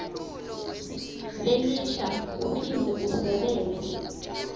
lelisha uphindze udvwebele